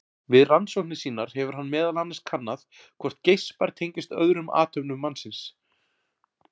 Við rannsóknir sínar hefur hann meðal annars kannað hvort geispar tengist öðrum athöfnum mannsins.